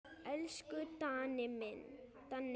Elsku Danni minn.